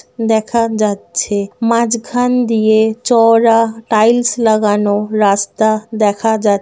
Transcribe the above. দেখা যাচ্ছে। মাঝখান দিয়ে চওড়া টাইলস লাগানো রাস্তা দেখা যাচ--